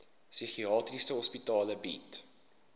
psigiatriese hospitale bied